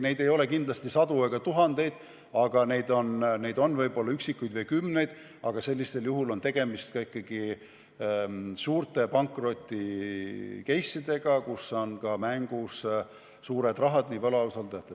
Neid ei ole kindlasti sadu ega tuhandeid, neid võib olla üksikuid või kümneid, aga sellisel juhul on tegemist ikkagi suurte pankroti-case'idega, kus on mängus ka võlausaldajate suured rahad jne.